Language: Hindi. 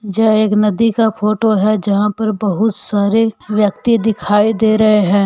यह एक नदी का फोटो है जहां पर बहुत सारे व्यक्ति दिखाई दे रहे हैं।